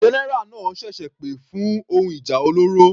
General náà ṣẹ̀ṣẹ̀ pè fún ohun ìjà olóró.